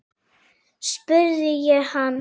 spurði ég hann.